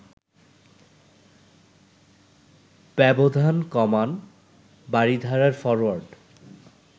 ব্যবধান কমান বারিধারার ফরোয়ার্ড